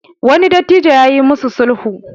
wani dattijo ya yi musu sulhu